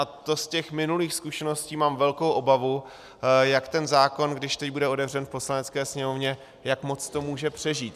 A to z těch minulých zkušeností mám velkou obavu, jak ten zákon, když teď bude otevřen v Poslanecké sněmovně, jak moc to může přežít.